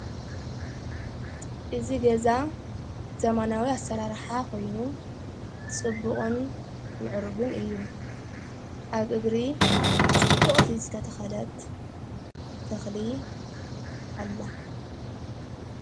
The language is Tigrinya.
እዝ ገዛ ዘመናዊ ኣሠራርሓ ኾይኑ ጽቡቕን ምዕርግን እዩ ኣብ እግሪ ጽቡቕቲ ዝተተኸለት ተኽሊ ኣላ::